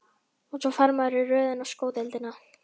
Og svo fer maður í röð inn á sko deildina.